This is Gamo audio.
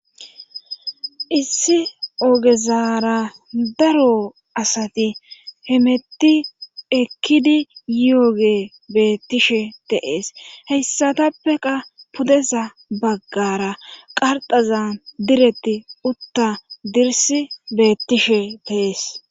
Issi ogezara daro asati hemetti ekkidi yoogey beettishshe de'ees heyssatappe qaa pudeza baggara qarxazan diretti utta dirssi beettishe de'ees